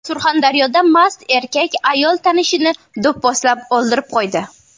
Surxondaryoda mast erkak ayol tanishini do‘pposlab o‘ldirib qo‘ydi.